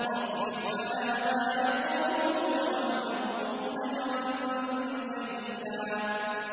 وَاصْبِرْ عَلَىٰ مَا يَقُولُونَ وَاهْجُرْهُمْ هَجْرًا جَمِيلًا